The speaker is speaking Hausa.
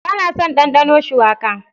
Ba na son dandano shuwaka.